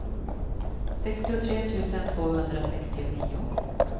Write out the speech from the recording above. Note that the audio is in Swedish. sextiotre tusen tvåhundrasextionio